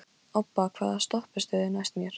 Obba, hvaða stoppistöð er næst mér?